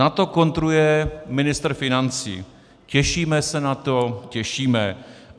Na to kontruje ministr financí: "Těšíme se na to, těšíme.